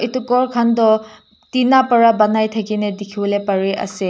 etu ghor khan toh tina para banai thakane dukhi bole pari ase.